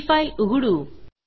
ती फाईल उघडू